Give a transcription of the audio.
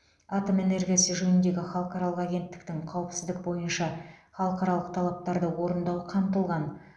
атом энергиясы жөніндегі халықаралық агенттіктің қауіпсіздік бойынша халықаралық талаптарды орындау қамтылған